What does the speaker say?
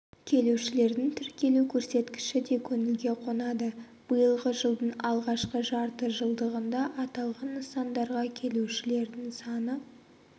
келушілердің тіркелу көрсеткіші де көңілге қонады биылғы жылдың алғашқы жарты жылдығында аталған нысандарға келушілердің саны